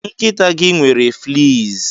Nkịta gị nwere fleas.